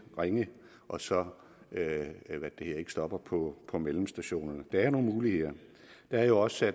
ringe og så ikke stopper på på mellemstationerne der er nogle muligheder det er jo også